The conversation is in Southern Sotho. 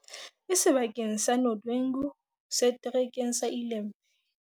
e seba keng sa Nodwengu, Setere keng sa Ilembe